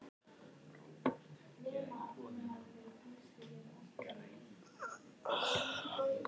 Hélst svo veturinn allan meðan hann var í veri og fram eftir næsta sumri.